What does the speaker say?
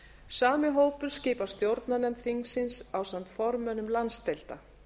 sami hópur skipar stjórnarnefnd þingsins ásamt formönnum landsdeilda